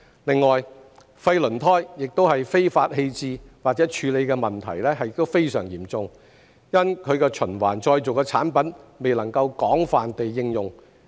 另外，廢輪胎非法棄置或處理的問題亦非常嚴重，因其循環再造的產品未能廣泛應用。